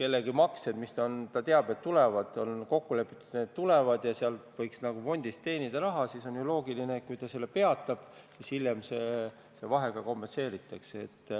kellegi maksed, mille puhul on kokku lepitud, et need tulevad, ja mille puhul võiks nagu fondist raha teenida, peatab, siis hiljem see vahe kompenseeritakse.